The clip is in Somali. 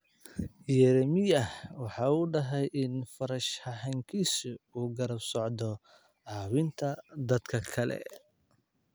Yeremyaah waxa uu dahay in farshaxankiisu uu garab socdo caawinta dadka kale.